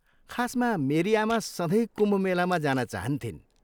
खासमा, मेरी आमा सधैँ कुम्भ मेलामा जान चाहन्थिन्।